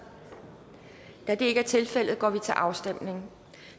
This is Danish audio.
da det ikke er tilfældet går vi til afstemning